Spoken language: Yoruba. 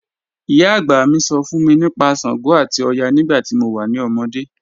Iyà agbá mí sọ̀ fún mí nípà ṣàngó àti ọ̀yà nígbà tí mo wà ní òmódé.